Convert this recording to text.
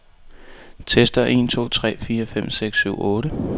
Tester en to tre fire fem seks syv otte.